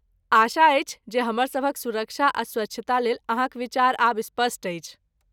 आशा अछि जे हमर सभक सुरक्षा आ स्वच्छता लेल अहाँक विचार आब स्पष्ट अछि।